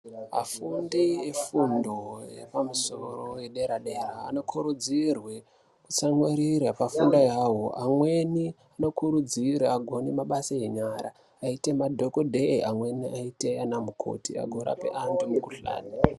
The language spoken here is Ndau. Afundi efundo yepamusoro yedera dera anokurudzirwa kutsamwirira pafundo yavo amweni anokurudzirwa agone mabasa enyara agoite madhokodheya amweni aite ana mukoti agorapa mikuhlani.